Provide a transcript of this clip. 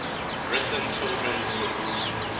written children's books